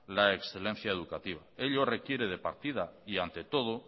la excelencia educativa ello requiere de partida y ante todo